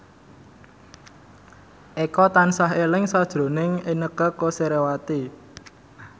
Eko tansah eling sakjroning Inneke Koesherawati